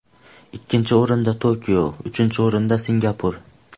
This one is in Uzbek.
Ikkinchi o‘rinda Tokio, uchinchi o‘rinda Singapur.